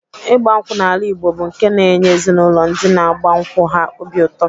Ịgba nkwụ n'ala Igbo bụ nke na-enye ezinaụlọ ndị na-agba nkwụ ha obi ụtọ.